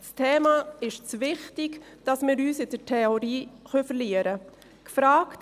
Das Thema ist zu wichtig, als dass wir uns in der Theorie verlieren können.